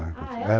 Ah, ela ficou lá.